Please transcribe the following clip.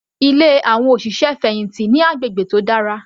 Ilé àwọn òṣìṣẹ́ fẹ̀hìntì ní agbègbè tí ó dára.